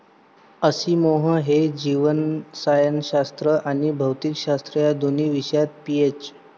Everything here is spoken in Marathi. असिमोव हे जीवरसायनशास्त्र आणि भौतिकशास्त्र या दोन विषयात पीएच.